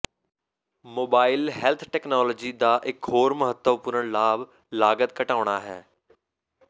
mobile health technology ਦਾ ਇੱਕ ਹੋਰ ਮਹੱਤਵਪੂਰਨ ਲਾਭ ਲਾਗਤ ਘਟਾਉਣਾ ਹੈ